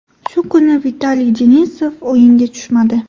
Shu kuni Vitaliy Denisov o‘yinga tushmadi.